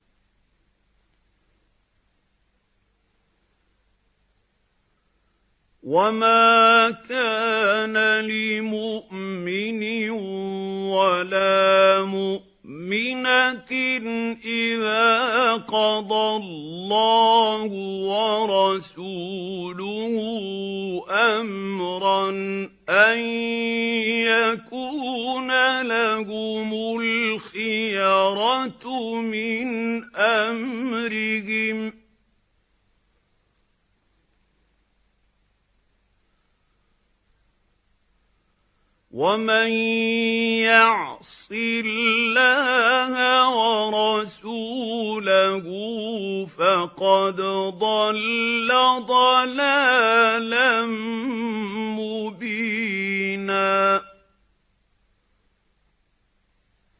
وَمَا كَانَ لِمُؤْمِنٍ وَلَا مُؤْمِنَةٍ إِذَا قَضَى اللَّهُ وَرَسُولُهُ أَمْرًا أَن يَكُونَ لَهُمُ الْخِيَرَةُ مِنْ أَمْرِهِمْ ۗ وَمَن يَعْصِ اللَّهَ وَرَسُولَهُ فَقَدْ ضَلَّ ضَلَالًا مُّبِينًا